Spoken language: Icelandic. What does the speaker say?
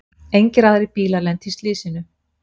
Engir aðrir bílar lentu í slysinu